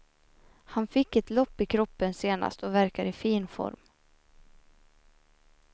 Han fick ett lopp i kroppen senast och verkar i fin form.